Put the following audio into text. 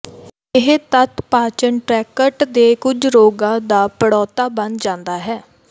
ਇਹ ਤੱਥ ਪਾਚਨ ਟ੍ਰੈਕਟ ਦੇ ਕੁਝ ਰੋਗਾਂ ਦਾ ਪ੍ਰੌੜਤਾ ਬਣ ਜਾਂਦਾ ਹੈ